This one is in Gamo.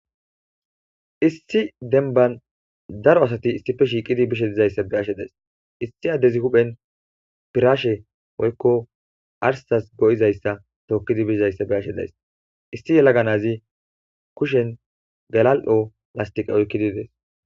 issi denban daro asati issife shiiqidi bishe dizayssa be ashe days issi addezi huphen piraashe oykko arsas go7izayssa tookkidi bishizayssa be ashe days issi yelaganazi kushen galal7o lastiqa oykkidi dees